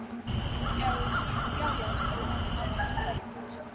Já, já sagði hún án sannfæringar.